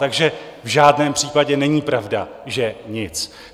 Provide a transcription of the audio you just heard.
Takže v žádném případě není pravda, že nic.